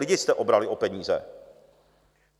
Lidi jste obrali o peníze.